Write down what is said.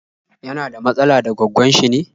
Yana da matsala da gwaggon shi ne?